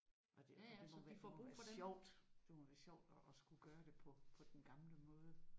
Og det er det må det må være sjovt det må være sjovt at skulle gøre det på på den gamle måde